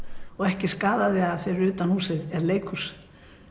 og ekki skaðaði að fyrir utan húsið er leikhús